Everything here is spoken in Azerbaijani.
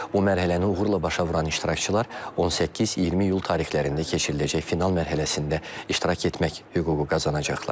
Bu mərhələni uğurla başa vuran iştirakçılar 18-20 iyul tarixlərində keçiriləcək final mərhələsində iştirak etmək hüququ qazanacaqlar.